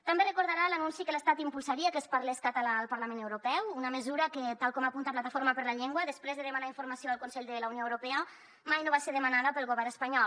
també deu recordar l’anunci que l’estat impulsaria que es parlés català al parlament europeu una mesura que tal com apunta a plataforma per la llengua després de demanar informació al consell de la unió europea mai no va ser demanada pel govern espanyol